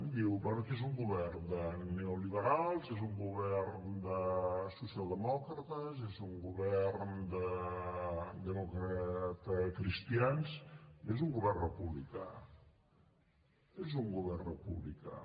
diu bé és un govern de neoliberals és un govern de socialdemòcrates és un govern de democratacristians és un govern republicà és un govern republicà